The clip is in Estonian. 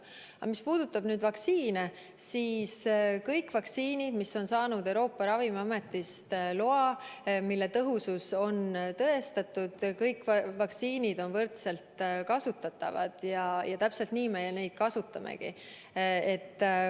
Aga mis puudutab vaktsiine, siis kõik vaktsiinid, mis on saanud Euroopa Ravimiametilt loa, mille tõhusus on tõestatud – kõik need on võrdselt kasutatavad ja täpselt nii me neid kasutamegi.